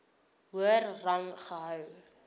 hoër rang gehou